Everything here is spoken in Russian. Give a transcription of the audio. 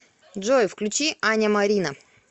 джой включи аня марина